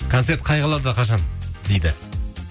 концерт қай қалада қашан дейді